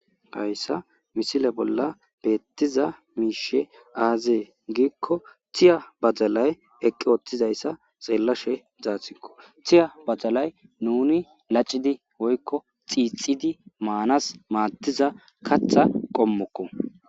hayssa misile bolla beettiza miishe aazee giikko thiya badalay eqqi ooththizayssa xeellashe zaathikko thiya badalay nuni lacidi woykko xiixidi maanas maattiza katha qommokko